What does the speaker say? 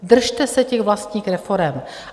Držte se těch vlastních reforem.